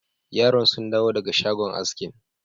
Yaran sun dawo daga shagon askin.